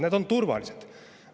Need on turvalised!